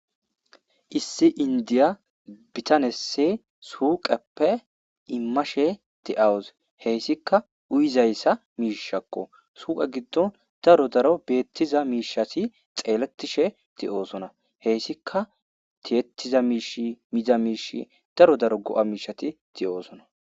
issi inddiya bitanesi suyiqepe imashe deaus hessika uyiza miishakko huphen giido daro daro bettiza mishati xeelletishe de'osona hey Tika tiyettida Mish miza Mish daro daro go'a mishati de'osona